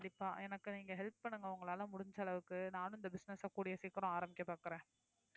கண்டிப்பா எனக்கு நீங்க help பண்ணுங்க உங்களால முடிஞ்ச அளவுக்கு நானும் இந்த business அ கூடிய சீக்கிரம் ஆரம்பிக்கப் பார்க்கிறேன்